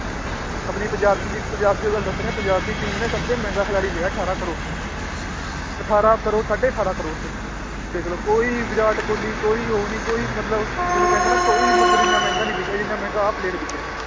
ਆਪਣੀ ਪੰਜਾਬ ਪੰਜਾਬ ਦੀ ਹੋਈ ਗੱਲ ਦੱਸ ਰਿਹਾਂ ਪੰਜਾਬ ਦੀ team ਨੇ ਸਭ ਤੋਂ ਮਹਿੰਗਾ ਖਿਲਾਡੀ ਲਿਆ ਅਠਾਰਾਂ ਕਰੌੜ 'ਚ ਅਠਾਰਾਂ ਕਰੌੜ ਸਾਢੇ ਅਠਾਰਾਂ ਕਰੌੜ 'ਚ ਦੇਖ ਲਓ ਕੋਈ ਵਿਰਾਟ ਕੋਹਲੀ ਕੋਈ ਉਹ ਨੀ ਕੋਈ ਮਤਲਬ ਜਿਹਨੂੰ ਕਹਿੰਦੇ ਨਾ ਕੋਈ ਮਤਲਬ ਇੰਨਾ ਮਹਿੰਗਾ ਨੀ ਵਿਕਿਆ ਜਿੰਨਾ ਮਹਿੰਗਾ ਆਹ player ਵਿੱਕਿਆ ਹੈ